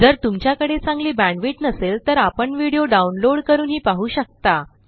जर तुमच्याकडे चांगली बॅण्डविड्थ नसेल तर आपण व्हिडिओ डाउनलोड करूनही पाहू शकता